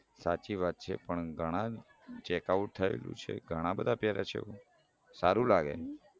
સાચી વાત છે પણ ગણાનું થયેલું છે ઘણા બધા એવું સારું લાગે